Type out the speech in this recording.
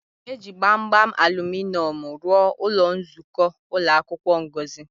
E ji gbamgbam aluminọmụ rụọ ụlọ nzukọ ụlọ akwụkwọ Ngozi.